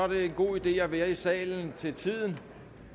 det en god idé at være i salen til tiden